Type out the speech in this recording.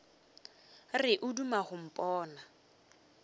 re o duma go mpona